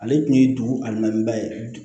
Ale tun ye dugu a naba ye